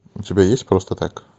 у тебя есть просто так